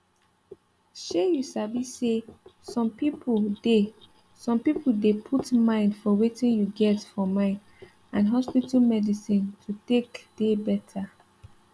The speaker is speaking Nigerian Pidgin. shey you sabi say some pipo dey some pipo dey put mind for wetin you get for mind and hospital medicine to take dey better